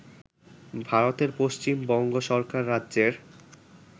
ভারতের পশ্চিম বঙ্গ সরকার রাজ্যের